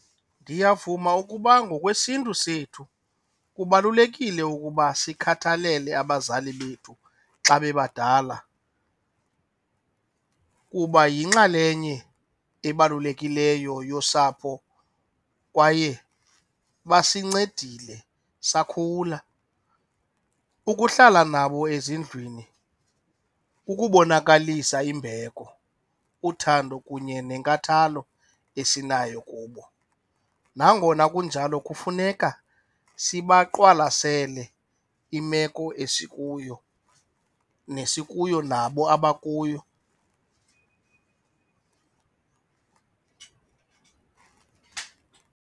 Ndiyavuma ukuba ngokwesiNtu sethu kubalulekile ukuba sikhathalele abazali bethu xa bebadala kuba yinxalenye ebalulekileyo yosapho kwaye basincedile sakhula. Ukuhlala nabo ezindlwini kukubonakalisa imbeko, uthando kunye nenkathalo esinayo kubo nangona kunjalo kufuneka sibaqwalasele imeko esikuyo nesikuyo nabo abakuyo.